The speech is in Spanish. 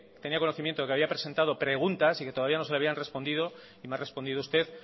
tenia conocimiento de que había presentado preguntas y que todavía no se le habían respondido y me ha respondido usted